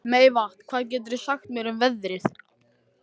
Meyvant, hvað geturðu sagt mér um veðrið?